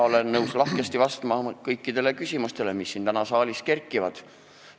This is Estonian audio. Olen nõus lahkesti vastama kõikidele küsimustele, mis siin saalis üles kerkivad.